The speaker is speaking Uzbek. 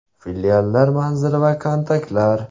Filiallar manzili va kontaktlar: .